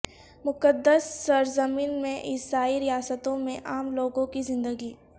مقدس سرزمین میں عیسائی ریاستوں میں عام لوگوں کی زندگی